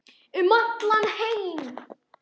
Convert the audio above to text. Um heim allan.